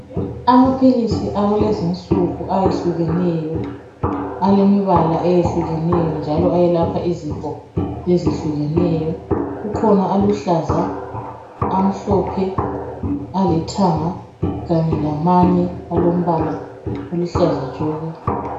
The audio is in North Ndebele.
Amaphilisi akulezi nsuku ayehlukeneyo alemibala eyehlukeneyo njalo ayelapha izifo ezihlukeneyo kukhona aluhlaza amhlophe alithanga kanye lamanye alombala oluhlaza tshoko.